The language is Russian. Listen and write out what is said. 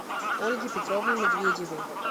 ольге петровне медведевой